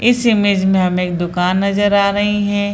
इस इमेज में हमें एक दुकान नजर आ रहीं हें।